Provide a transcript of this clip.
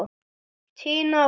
Tina og Linda.